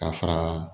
Ka fara